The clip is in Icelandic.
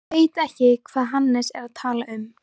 Ég veit ekki hvað Hannes er að tala um.